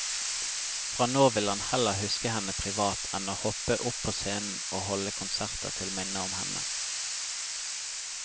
Fra nå vil han heller huske henne privat enn å hoppe opp på scenen og holde konserter til minne om henne.